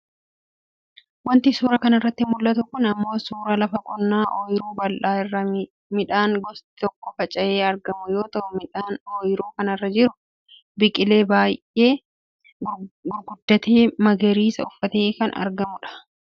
Wanti suuraa kanarratti mul'atu kun ammoo suuraa lafa qonnaa ooyiruu bal'aa irra midhaan gosti tokko facayee argamu yoo ta'u midhaan oyiruu kanarra jiru biqilee baayyee gurgurdatee magariisa uffatee kan argamudha.